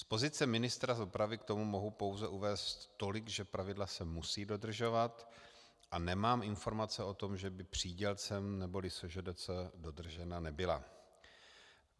Z pozice ministra dopravy k tomu mohu pouze uvést tolik, že pravidla se musí dodržovat, a nemám informace o tom, že by přídělcem neboli SŽDC dodržena nebyla.